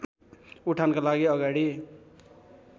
उठानका लागि अगाडि